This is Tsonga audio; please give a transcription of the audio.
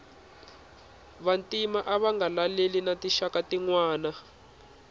vantima ava nga laleli na tinxaka tinwana